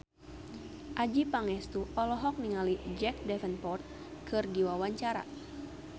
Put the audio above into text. Adjie Pangestu olohok ningali Jack Davenport keur diwawancara